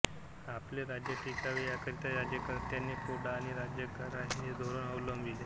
आपले राज्य टिकावे याकरिता राज्यकर्तांनी फोडा आणि राज्य करा हे धोरण अवलंबिले